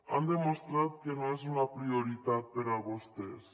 han demostrat que no és una prioritat per a vostès